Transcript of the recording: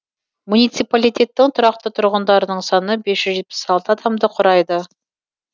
муниципалитеттің тұрақты тұрғындарының саны бес жүз жетпіс алты адамды құрайды